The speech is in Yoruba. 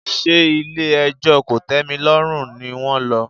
Ṣé ilé ẹjọ́ kòtẹ́milọ́rùn ni wón lọ?